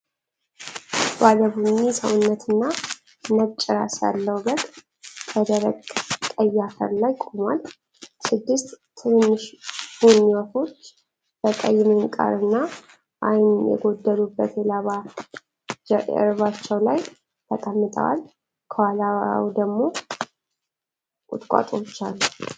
ባለ ቡኒ ሰውነትና ነጭ ራስ ያለው በግ በደረቅ ቀይ አፈር ላይ ቆሟል። ስድስት ትንንሽ ቡኒ ወፎች በቀይ ምንቃርና ዓይን የጎደሉበት የላባ ጀርባቸው ላይ ተቀምጠዋል። ከኋላው ደግሞ ቁጥቋጦዎች አሉ።